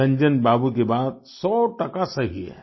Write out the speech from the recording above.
रंजन बाबू की बात सौटका सही है